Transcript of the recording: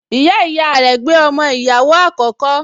Ìyáàyá rẹ̀ gbé ọmọ ìyàwó àkókò